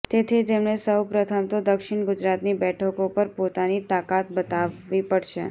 તેથી તેમણે સૌ પ્રથમ તો દક્ષિણ ગુજરાતની બેઠકો પર પોતાની તાકાત બતાવવી પડશે